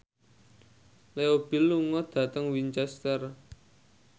Leo Bill lunga dhateng Winchester